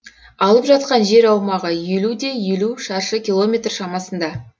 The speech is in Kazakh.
алып жатқан жер аумағы елу де елу шаршы километр шамасында